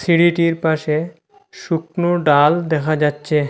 সিঁড়িটির পাশে শুকনো ডাল দেখা যাচ্ছে।